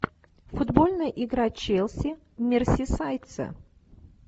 футбольная игра челси мерсисайдцы